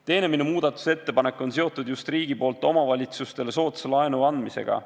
Teine minu muudatusettepanek on seotud just riigi poolt omavalitsustele soodsa laenu andmisega.